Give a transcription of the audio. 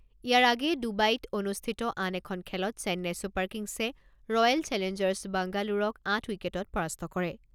ইয়াৰ আগেয়ে ডুবাইত অনুষ্ঠিত আন এখন খেলত Chennai Super Kings Royal Challengers বাংগালোৰক আঠ উইকেটত পৰাস্ত কৰে।